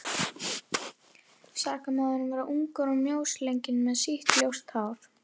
Sakamaðurinn var ungur og mjósleginn með sítt ljóst hár.